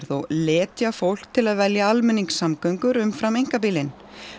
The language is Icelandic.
og letja fólk til að velja almenningssamgöngur umfram einkabílinn